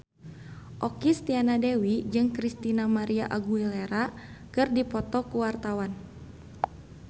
Okky Setiana Dewi jeung Christina María Aguilera keur dipoto ku wartawan